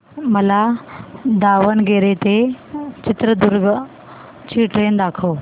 मला दावणगेरे ते चित्रदुर्ग ची ट्रेन दाखव